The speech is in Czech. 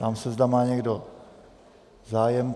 Ptám se, zda má někdo zájem.